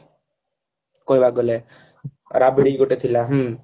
କହିବାକୁ ଗଲେ ରାବିଡି ଗୋଟେ ଥିଲା ହଁ